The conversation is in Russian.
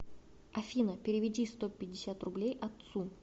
афина переведи сто пятьдесят рублей отцу